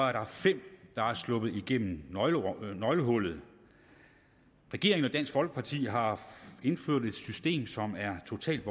er der fem der er sluppet igennem nøglehullet regeringen og dansk folkeparti har indført et system som er totalt